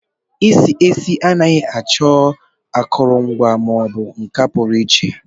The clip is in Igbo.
Esi esi anaghị achọ akụrụngwa ma ọ bụ nka pụrụ iche.